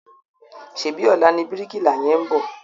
Ṣèbí ọ̀la ni bíríkìlà yẹn ń bọ̀?